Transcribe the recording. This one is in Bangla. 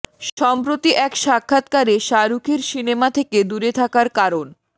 সম্প্রতি এক সাক্ষাৎকারে শাহরুখের সিনেমা থেকে দূরে থাকার কারণ